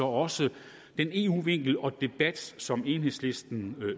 også den eu vinkel og debat som enhedslisten